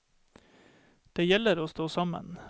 Det gjelder å stå sammen.